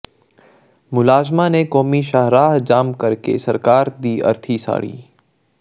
ਮੁਲਾਜ਼ਮਾਂ ਨੇ ਕੌਮੀ ਸ਼ਾਹਰਾਹ ਜਾਮ ਕਰਕੇ ਸਰਕਾਰ ਦੀ ਅਰਥੀ ਸਾਡ਼ੀ